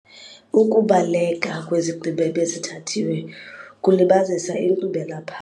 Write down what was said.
Ukubaleka kwizigqibo ebezithathiwe kulibazisa inkqubela pha.